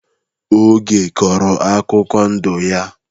Oge kọrọ akụkọ ndụ ya.